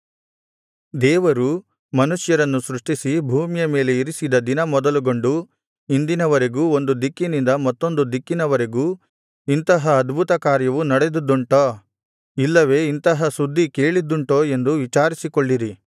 ದೇವರು ಮನುಷ್ಯರನ್ನು ಸೃಷ್ಟಿಸಿ ಭೂಮಿಯ ಮೇಲೆ ಇರಿಸಿದ ದಿನ ಮೊದಲುಗೊಂಡು ಇಂದಿನವರೆಗೂ ಒಂದು ದಿಕ್ಕಿನಿಂದ ಮತ್ತೊಂದು ದಿಕ್ಕಿನವರೆಗೂ ಇಂತಹ ಅದ್ಭುತ ಕಾರ್ಯವು ನಡೆದದ್ದುಂಟೋ ಇಲ್ಲವೆ ಇಂತಹ ಸುದ್ದಿ ಕೇಳಿದ್ದುಂಟೋ ಎಂದು ವಿಚಾರಿಸಿಕೊಳ್ಳಿರಿ